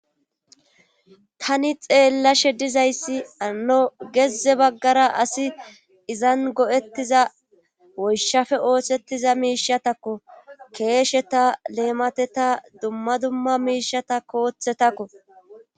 tani xeellashe dizayssi hano gezze baggara asi izan go'ettiza woyshafe oosettiza miishatakko keesheta leemateta dumma dumma miishatakko koththetakko